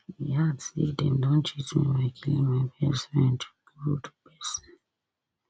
e add say dem don cheat me by killing my best friend good person